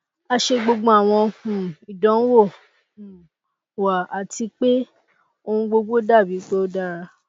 a ṣe gbogbo awọn um idanwo um wa ati pe ohun gbogbo dabi pe o dara